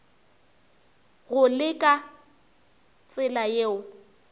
go le ka tsela yeo